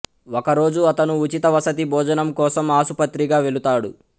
ఒక రోజు అతను ఉచిత వసతి భోజనం కోసం ఆసుపత్రిగా వెలుతాడు